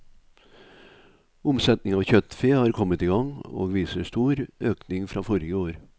Omsetning av kjøttfe har kommet i gang og viser stor økning fra forrige år.